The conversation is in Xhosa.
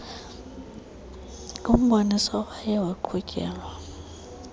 kumboniso owaye waqhutyelwa